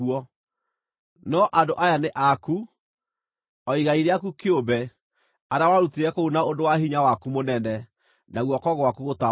No andũ aya nĩ aku, o igai rĩaku kĩumbe, arĩa warutire kũu na ũndũ wa hinya waku mũnene, na guoko gwaku gũtambũrũkĩtio.”